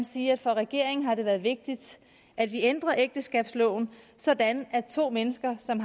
sige at for regeringen har det været vigtigt at vi ændrer ægteskabsloven sådan at to mennesker som